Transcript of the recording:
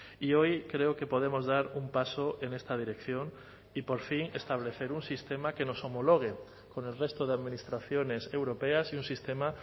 y hoy creo que podemos dar un paso en esta dirección y por fin establecer un sistema que nos homologue con el resto de administraciones europeas y un sistema